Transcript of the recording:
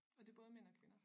Og det både mænd og kvinder